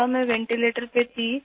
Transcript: میں ventilator پر تھی